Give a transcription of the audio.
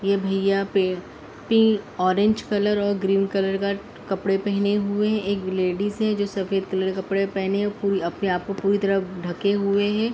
ये भैया orange colour और ग्रीन कलर का कपड़े पेहने हुए हैं। एक लेडिस है जो सफ़ेद कलर के कपड़े पेहने अपने आप को पूरी तरह ढके हुए है।